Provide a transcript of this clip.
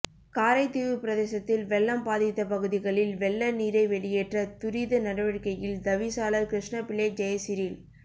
காரைதீவு பிரதேசத்தில் வெள்ளம் பாதித்த பகுதிகளில் வெள்ள நீரை வெளியேற்ற துரித நடவடிக்கையில் தவிசாளர் கிருஷ்ணபிள்ளை ஜெயசிறில்